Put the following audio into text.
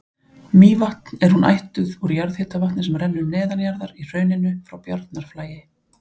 Mývatn er hún ættuð úr jarðhitavatni sem rennur neðanjarðar í hrauninu frá Bjarnarflagi.